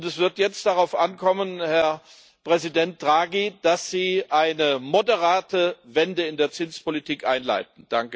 Und es wird jetzt darauf ankommen, Herr Präsident Draghi, dass Sie eine moderate Wende in der Zinspolitik einleiten.